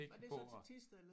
Var det så til Thisted?